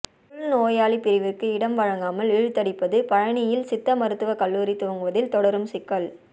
உள்நோயாளி பிரிவிற்கு இடம் வழங்காமல் இழுத்தடிப்பு பழநியில் சித்த மருத்துவ கல்லூரி துவங்குவதில் தொடரும் சிக்கல்